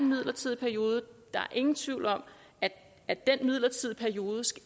midlertidig periode og der er ingen tvivl om at at den midlertidige periode